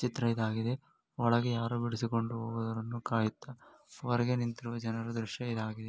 ಚಿತ್ರ ಇದಾಗಿದೆ ಒಳಗೆ ಯಾರ ಇರುವುದನ್ನು ಕಾಯುತ್ತಾ ಹೊರಗೆ ನಿಂತಿರುವ ಜನರ ದೃಶ್ಯ ಇದಾಗಿದೆ .